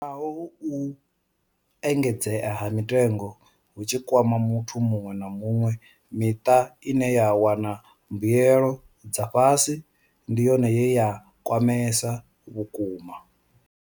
Naho uhu u engedzea ha mitengo hu tshi kwama muthu muṅwe na muṅwe, miṱa ine ya wana mbuelo dza fhasi ndi yone ye ya kwamea vhukuma.